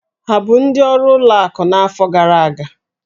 Ha bụ ndị ọrụ ụlọ akụ n'afọ gara aga?